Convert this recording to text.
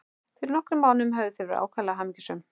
Fyrir nokkrum mánuðum höfðu þau verið ákaflega hamingjusöm.